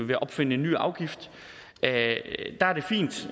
ved at opfinde et ny afgift